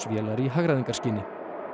vélar í hagræðingarskyni